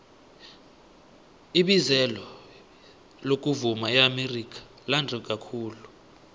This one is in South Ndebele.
ibizelo lokuvuma eamerika lande kakhulu